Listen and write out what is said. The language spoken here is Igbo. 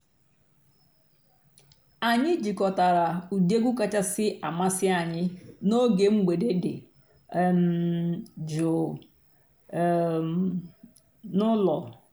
ányị́ jikòtàrà ụ́dị́ ègwú kàchàsị́ àmásị́ ànyị́ n'óge m̀gbèdé dị́ um jụ́ụ́ um n'ụ́lọ́.